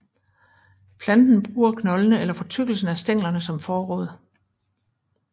Planten bruger knoldene eller fortykkelsen af stænglerne som forråd